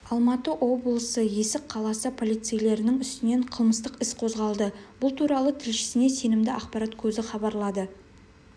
алматы облысы есік қаласы полицейлерінің үстінен қылмыстық іс қозғалды бұл туралы тілшісіне сенімді ақпарат көзі хабарлады